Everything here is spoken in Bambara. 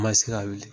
N ma se ka wuli